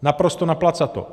Naprosto naplacato.